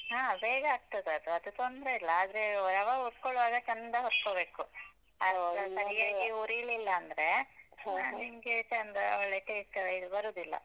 ಹಾ ಬೇಗ ಆಗ್ತದದು, ಅದು ತೊಂದ್ರೆ ಇಲ್ಲ. ಆದ್ರೆ ರವ ಹುರ್ಕೊಳ್ಳುವಾಗ ಚಂದ ಹುರ್ಕೊಬೇಕು. ಅದು ಸರ್ಯಾಗಿ ಹುರಿಲಿಲ್ಲ ಅಂದ್ರೆ ನಿಮ್ಗೆ ಚಂದ ಒಳ್ಳೆ taste ಎಲ್ಲ ಬರುದಿಲ್ಲ.